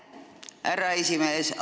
Aitäh, härra esimees!